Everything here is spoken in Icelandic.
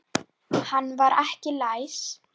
Hann var ekki læs.